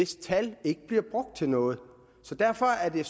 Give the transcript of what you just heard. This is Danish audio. tallene ikke bliver brugt til noget derfor er det